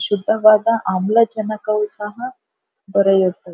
ಶುಭವಾದ ಆಮ್ಲ ಜನಕವು ಸಹ ದೊರೆಯುತ್ತದೆ.